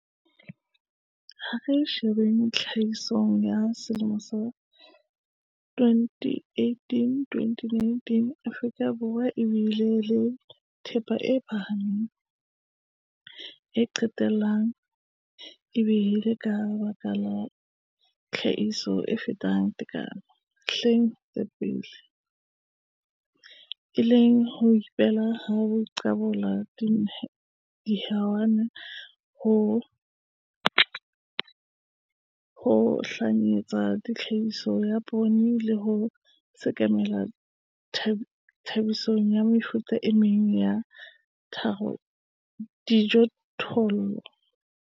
Ha re sheba tlhahisong ya 2018-2019 Afrika Borwa e bile le thepa e phahameng, e qetellang, e bileng ka baka la tlhahiso e fetang tekano dihleng tse ka pele, e leng ho ileng ha qobella dihwai ho nyahlatsa tlhahiso ya poone, le ho sekamela tlhahisong ya mefuta e meng ya dijothollo.